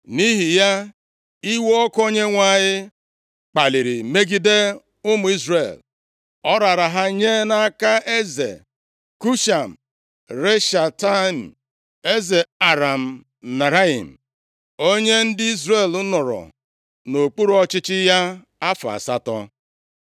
Nʼihi ya, iwe ọkụ Onyenwe anyị kpaliri megide ụmụ Izrel. Ọ raara ha nye nʼaka eze Kushan Rishataim, eze Aram Naharaim, onye ndị Izrel nọrọ nʼokpuru ọchịchị ya afọ asatọ.